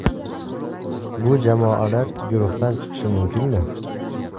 Bu jamoalar guruhdan chiqishi mumkinmi?